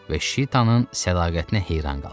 Və Şitanın sədaqətinə heyran qalmışdı.